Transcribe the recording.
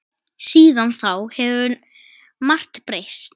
Síðan þá hefur margt breyst.